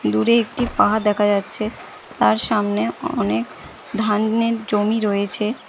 দুরে একটি পাহাড় দেখা যাচ্ছে তার সামনে অনেক ধানের জমি রয়েছে।